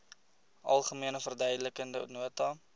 algemene verduidelikende nota